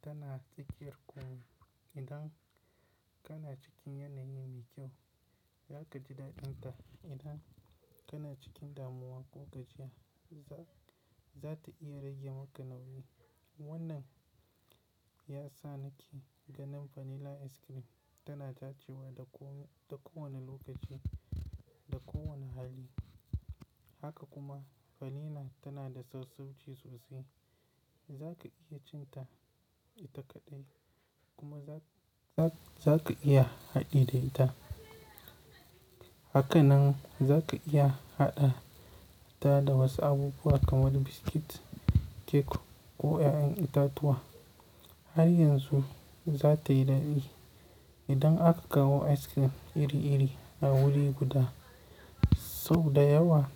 tana tsakiyar ƙomi idan kana cikin yanayi mai kyau za ka ji daɗin ta idan kana cikin damuwa ko gajiya za ta iya rage maka nauyi. Wannan ya sa nake ganin vanilla ice cream tana dacewa da ko wane lokaci da ko wane hali. Haka kuma vanilla tana da sassauci sosai za ka iya cin ta ita kaɗai kuma za ka iya haɗi da ita. Haka nan za ka iya haɗata da wasu abubuwa kamar biscuit, kek ko 'ya'yan itatuwa har yanzu za ta yi daɗi. Idan aka kawo ice cream iri iri a wuri guda sau da yawa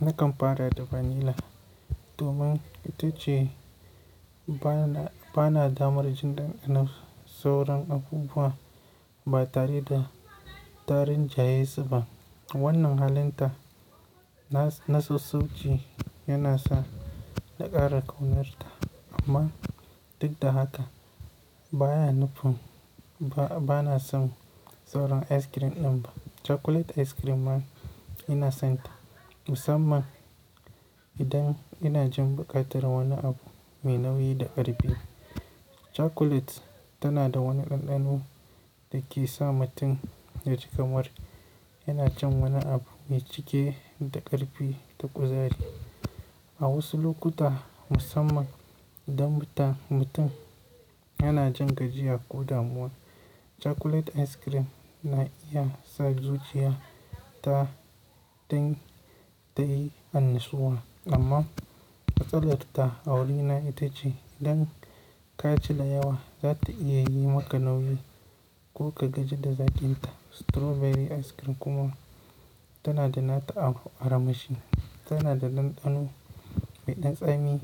nakan fara da vanilla domin ita ce bana damar jin ɗanɗanon sauran abubuwa ba tare da ta rinjayesu ba. Wannan halin ta na sassauci yana sa na ƙara ƙaunarta amma duk da haka baya nufin bana son sauran ice cream ɗan ba. Chocolate ice cream ma ina son ta musamman idan ina jin buƙatar wani abu mai nauyi da ƙarfi. Chocolate tana da wani ɗanɗano da ke sa mutum ya ji kamar yana cin wani abu mai cike da ƙarfi da kuzari. A wasu lokuta musamman idan mutum yana jin gajiya ko damuwa chocolate ice cream na iya sa zuciya ta din ta yi annashuwa amma a matsalar ta a wuri na ita ce idan ka ci da yawa za ta iya yi maka nauyi ko ka gaji da zaƙin ta. Strawberry ice cream kuma tana da nata aramashi tana da ɗanɗano mai ɗan tsami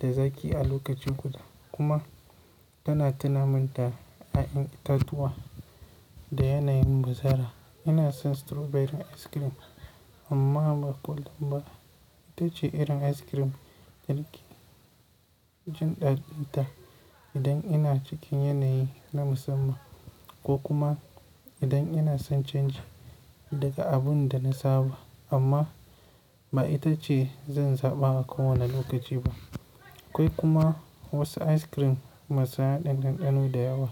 da zaƙi a lokaci guda kuma tana tunamin ta ƴa'yan itatuwa da yanayin bazara. Ina son strawberry ice cream amma ba ko damba ita ce irin ice cream da nake jin ɗaɗinta idan ina cikin yanayi na musamman ko kuma idan ina son canji daga abin da na saba amma ba ita ce zan zaɓa a ko wane lokaci ba. Akwai kuma wasu ice cream masu haɗin ɗanɗano da yawa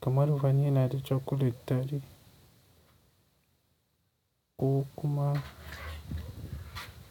kamar vanilla da chocolate tare ko kuma.